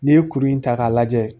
N'i ye kuru in ta k'a lajɛ